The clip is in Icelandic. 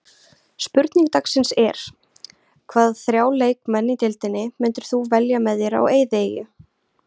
Spurning dagsins er: Hvaða þrjá leikmenn í deildinni myndir þú velja með þér á eyðieyju?